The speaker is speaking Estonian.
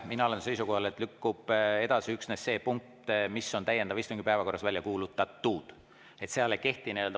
Mina olen seisukohal, et lükkub edasi üksnes see punkt, mis on täiendava istungi päevakorras välja kuulutatud.